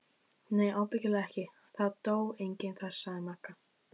Nei ábyggilega ekki, það dó enginn þar sagði Magga.